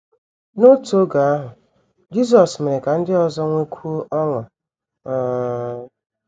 N’otu oge ahụ, Jisọs mere ka ndị ọzọ nwekwuo ọṅụ um.